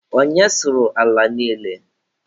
Onye sụrụ ala niile?